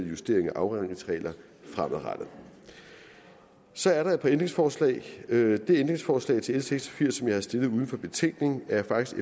justeringer af afregningsregler fremadrettet så er der et par ændringsforslag det ændringsforslag til l seks og firs som jeg har stillet uden for betænkningen er faktisk